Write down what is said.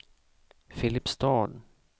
Filipstad